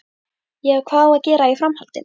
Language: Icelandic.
Já, hvað á að gera í framhaldinu?